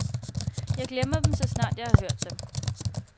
Jeg glemmer dem, så snart jeg har hørt dem.